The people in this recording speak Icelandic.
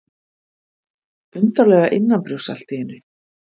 Undarlega innanbrjósts allt í einu.